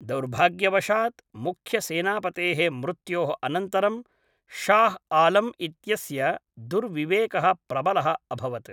दौर्भाग्यवशात् मुख्यसेनापतेः मृत्योः अनन्तरं, शाह् आलम् इत्यस्य दुर्विवेकः प्रबलः अभवत्।